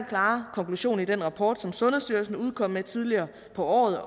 klare konklusion i den rapport som sundhedsstyrelsen udkom med tidligere på året